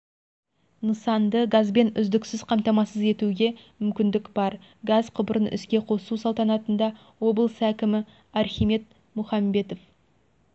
нысанды газбен үздіксіз қамтамасыз етуге мүмкіндік бар газ құбырын іске қосу салтанатында облыс әкімі архимед мұхамбетов